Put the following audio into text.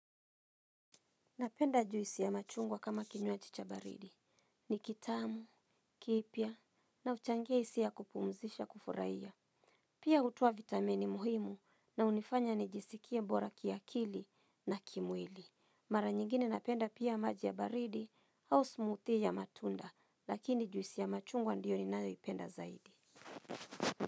Napenda juisi ya machungwa kama kinywaji cha baridi. Ni kitamu, kiipia na uchangia isiya kupumzisha kufuraiya. Pia hutoa vitamini muhimu na unifanya ni jisikie bora kiakili na kimwili. Mara nyingine napenda pia maji ya baridi au smoothie ya matunda lakini juisi ya machungwa ndiyo ninayoipenda zaidi.